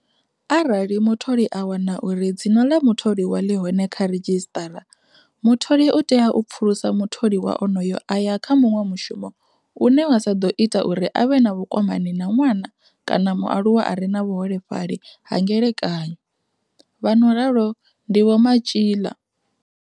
Arali mutholi a wana uri dzina ḽa mutholiwa ḽi hone kha ridzhisiṱara, mutholi u tea u pfulusa mutholiwa onoyo a ya kha muṅwe mushumo une wa sa ḓo ita uri a vhe na vhukwamani na ṅwana kana mualuwa a re na vhuholefhali ha ngelekanyo, vha no ralo ndi Vho Matjila.